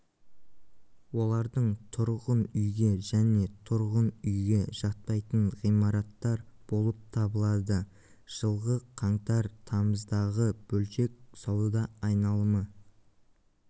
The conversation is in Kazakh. олардың тұрғын үйге және тұрғын үйге жатпайтын ғимараттар болып табылады жылғы қаңтар-тамыздағы бөлшек сауда айналымы